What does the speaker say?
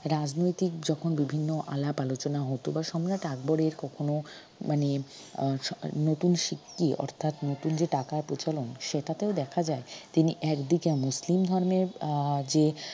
রাজনৈতিক যখন বিভিন্ন আলাপ আলোচনা হত বা সম্রাট আকবরের কখনো মানে আহ নতুন সিদ্ধি অর্থাৎ নতুন যে টাকা প্রচলন সেটাতেও দেখা যায় তিনি একদিকে মুসলিম ধর্মের আহ যে